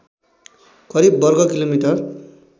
करिव वर्ग किलोमिटर